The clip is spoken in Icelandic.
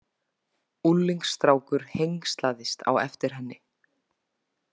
Unglingsstrákur hengslaðist á eftir henni.